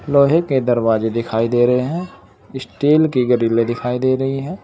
लोहे के दरवाजे दिखाई दे रहे हैं स्टील की ग्रीले दिखाई दे रही है।